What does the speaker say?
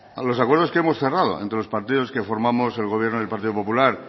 a los acuerdos que hemos cerrado entre los partidos que formamos el gobierno del partido popular